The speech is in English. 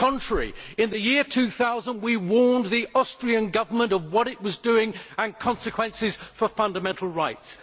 On the contrary, in the year 2000 we warned the Austrian Government of what it was doing and the consequences for fundamental rights.